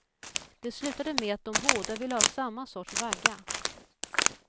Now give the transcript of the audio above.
Det slutade med att de båda ville ha samma sorts vagga.